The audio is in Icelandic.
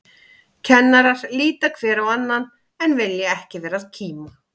Kennarar líta hver á annan, en vilja ekki vera að kíma.